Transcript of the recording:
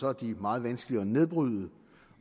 er de meget vanskelige at nedbryde